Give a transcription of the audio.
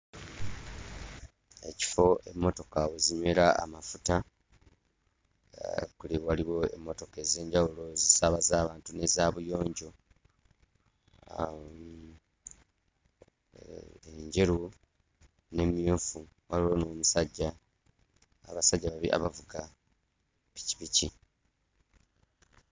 Ekifo emmotoka we zinywera amafuta, waliwo emmotoka ez'enjawulo ezisaabaza abantu n'eza buyonjo, enjeru n'emmyufu, waliwo n'omusajja abasajja babiri abavuga pikipiki.